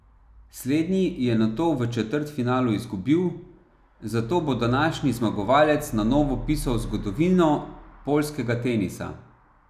Slednji je nato v četrtfinalu izgubil, zato bo današnji zmagovalec na novo pisal zgodovino poljskega tenisa.